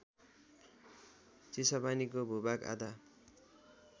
चिसापानीको भूभाग आधा